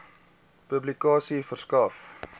publikasie verskaf